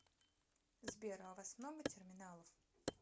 сбер а у вас много терминалов